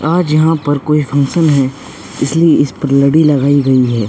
आज यहाँ पर कोई फंक्शन है इसलिए इस पर लड़ी लगाई गई है।